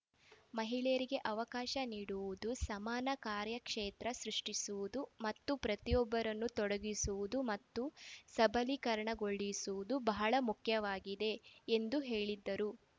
ಮಹಿಳೆಯರಿಗೆ ಅವಕಾಶ ನೀಡುವುದು ಸಮಾನ ಕಾರ್ಯಕ್ಷೇತ್ರ ಸೃಷ್ಟಿಸುವುದು ಮತ್ತು ಪ್ರತಿಯೊಬ್ಬರನ್ನು ತೊಡಗಿಸುವುದು ಮತ್ತು ಸಬಲೀಕರಣಗೊಳಿಸುವುದು ಬಹಳ ಮುಖ್ಯವಾಗಿದೆ ಎಂದು ಹೇಳಿದರು